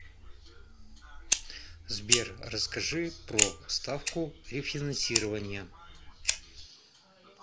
сбер расскажи про ставку рефинансирования